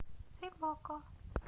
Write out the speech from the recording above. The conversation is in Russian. фильм окко